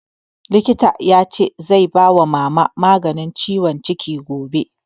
Likita ya ce zai ba Mama maganin ciwon ciki gobe